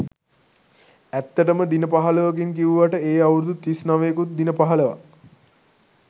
ඇත්තටම දින පහළොවකින් කිව්වට ඒ අවුරුදු තිස් නවයකුත් දින පහළොවක්.